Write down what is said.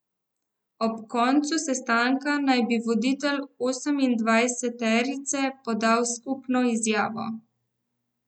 Ob koncu sestanka naj bi voditelji osemindvajseterice podali skupno izjavo.